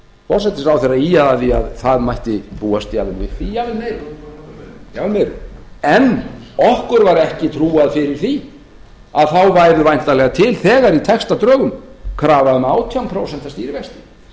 forsætisráðherra ýjaði að því að það mætti búast jafnvel við því jafnvel meiru en okkur var ekki trúað fyrir því að þá væru væntanlega til þegar í textadrögum krafa um átján prósent stýrivexti